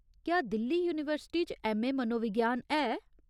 क्या दिल्ली यूनीवर्सिटी च ऐम्म.ए. मनोविज्ञान है ?